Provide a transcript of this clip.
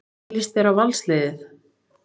Hvernig lýst þér á Valsliðið?